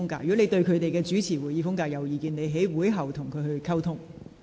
如你對他們有任何意見，可在會後與他們溝通。